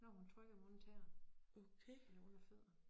Når hun trykker mig under tæerne eller under fødderne